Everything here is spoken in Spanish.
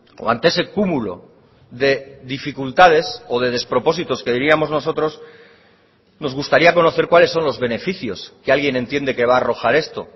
o ante ese cúmulo de dificultades o de despropósitos que diríamos nosotros nos gustaría conocer cuáles son los beneficios que alguien entiende que va a arrojar esto